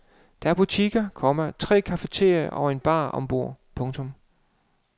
Der er butikker, komma tre cafeterier og en bar ombord. punktum